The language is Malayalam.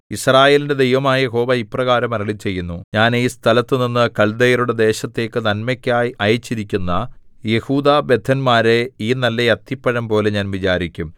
യിസ്രായേലിന്റെ ദൈവമായ യഹോവ ഇപ്രകാരം അരുളിച്ചെയ്യുന്നു ഞാൻ ഈ സ്ഥലത്തുനിന്നു കൽദയരുടെ ദേശത്തേക്ക് നന്മയ്ക്കായി അയച്ചിരിക്കുന്ന യെഹൂദാബദ്ധന്മാരെ ഈ നല്ല അത്തിപ്പഴംപോലെ ഞാൻ വിചാരിക്കും